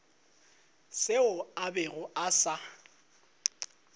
seo a bego a sa